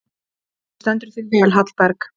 Þú stendur þig vel, Hallberg!